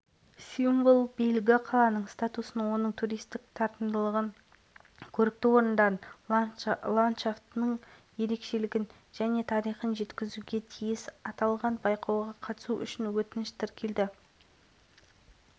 венгрияның сыртқы экономикалық байланыстар және сыртқы істер министрлігінің мемлекеттік хатшысы миклош иштван қайрат молдасейітовке құрметті консул